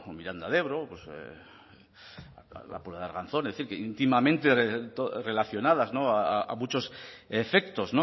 miranda de ebro pues la puebla de arganzón es decir íntimamente relacionadas a muchos efectos